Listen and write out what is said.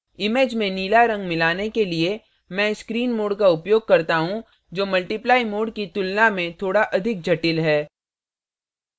image में नीला रंग मिलाने के लिए मैं screen mode का उपयोग करता हूँ जो multiply mode की तुलना में थोड़ा अधिक जटिल है